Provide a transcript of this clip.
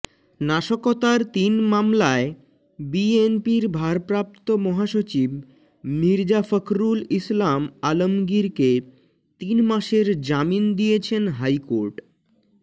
নাশকতার তিন মামলায় বিএনপির ভারপ্রাপ্ত মহাসচিব মির্জা ফখরুল ইসলাম আলমগীরকে তিন মাসের জামিন দিয়েছেন হাইকোর্ট